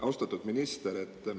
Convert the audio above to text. Austatud minister!